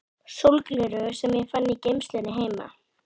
sólgleraugu sem ég fann í geymslunni heima.